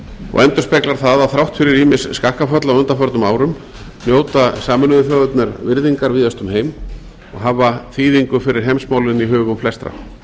og endurspeglar það að þrátt fyrir ýmis skakkaföll á undanförnum árum njóta sameinuðu þjóðirnar virðingar víðast um heim og hafa þýðingu fyrir heimsmálin í hugum flestra þær